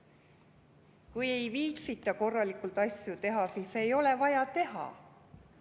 Kui ei viitsita korralikult asju teha, siis ei ole vaja teha.